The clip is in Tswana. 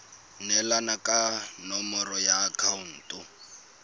neelana ka nomoro ya akhaonto